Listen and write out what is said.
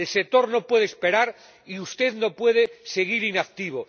El sector no puede esperar, y usted no puede seguir inactivo.